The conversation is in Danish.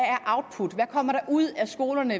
kommer der ud af skolerne